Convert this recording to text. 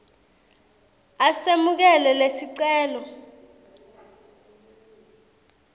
a semukele lesicelo